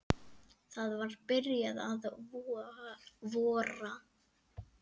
Það var byrjað að vora.